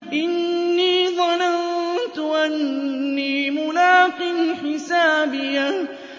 إِنِّي ظَنَنتُ أَنِّي مُلَاقٍ حِسَابِيَهْ